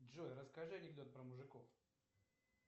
джой расскажи анекдот про мужиков